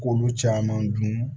K'olu caman dun